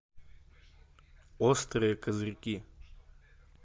острые козырьки